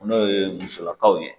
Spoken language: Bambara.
N'o ye musolakaw ye